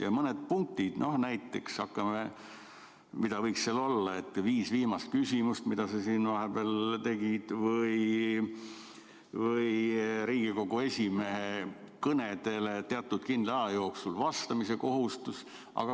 Ja mõned punktid näiteks, mis võiks seal olla, et viis viimast küsimust, mida sa siin vahepeal tegid, või Riigikogu esimehe kõnedele teatud kindla aja jooksul vastamise kohustus.